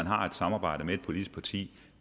har et samarbejde med et politisk parti